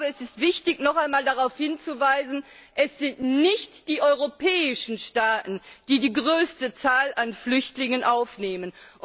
Es ist wichtig, noch einmal darauf hinzuweisen Es sind nicht die europäischen Staaten, die die größte Zahl an Flüchtlingen aufnehmen.